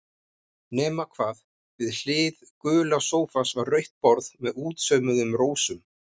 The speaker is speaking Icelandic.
Nema hvað, við hlið gula sófans var rautt borð með útsaumuðum rósum.